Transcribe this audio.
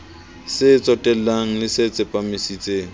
se tsotellang le se tsepamisitseng